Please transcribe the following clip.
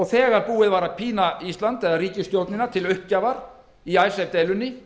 þegar búið var að pína ísland eða ríkisstjórnina til uppgjafar í icesave deilunni